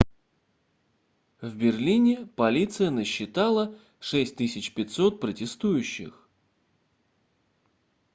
в берлине полиция насчитала 6500 протестующих